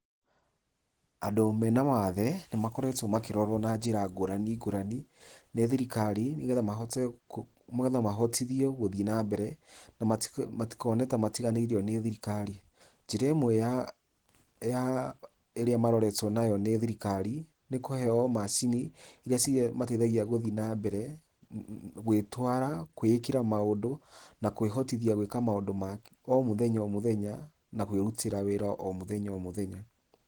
Andũ mena mawathe nĩmakoretwe makĩrorwa na njira ngũrani ngũrani nĩ thirikari, nĩgetha mahotithie gũthii na mbere na matikone ta matiganĩirio nĩ thirikari, njĩra ĩmwe ya ĩrĩa maroretwe nayo nĩ thirikari nĩ kũheo macini, irĩa imateithagia gũthii nambere, gwĩtwara ,gwĩĩkira maũndũ na kwĩhotithia gwika maũndũ ma omũthenya omũthenya na kwĩrutĩra wĩra omũthenya omũthenya.